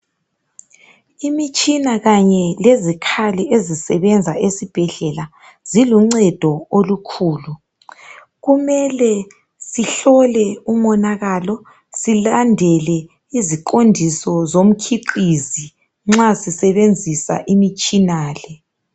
Imitshina kanye lezikhali ezisebenza esibhedlela ziluncedo olukhulu kumele sihlole umonakalo silandele iziqondiso zotshiqizi nxa sisebenzisa imtshina le.